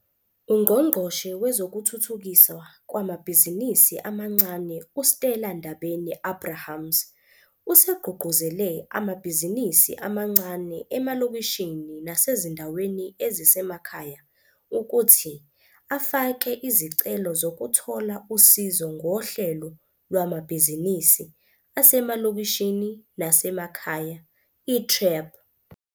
UNgqongqoshe Wezokuthuthukiswa Kwamabhizinisi Amancane, u-Stella Ndabeni-Abrahams, usegqugquzele amabhizinisi amancane emalokishini nasezindaweni ezisemakhaya ukuthi afake izicelo zokuthola usizo ngoHlelo Lwamabhizinisi Asemalokishini Nasemakhaya, i-TREP.